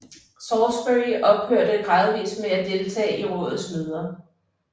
Salisbury ophørte gradvist med at deltage i rådets møder